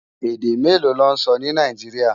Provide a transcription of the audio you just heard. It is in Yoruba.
Èdè méló lò nsò ni Náijiriá?